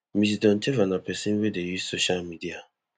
ms doncheva na pesin wey dey use social media